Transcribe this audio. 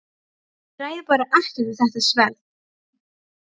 Ég ræð bara ekkert við þetta sverð!